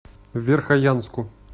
верхоянску